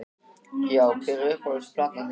Já Hver er uppáhalds platan þín?